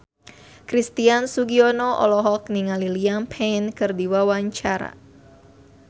Christian Sugiono olohok ningali Liam Payne keur diwawancara